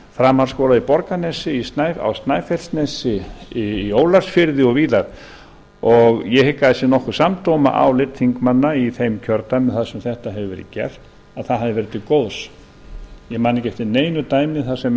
framhaldsskóla í borgarnesi á snæfellsnesi í ólafsfirði og víðar ég hygg að það sé nokkuð samdóma álit þingmanna í þeim kjördæmum þar sem þetta hefur verið gert að það hafi verið til góðs ég man ekki eftir neinu dæmi þar sem menn